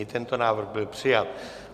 I tento návrh byl přijat.